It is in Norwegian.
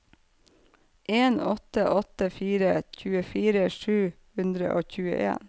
en åtte åtte fire tjuefire sju hundre og tjueen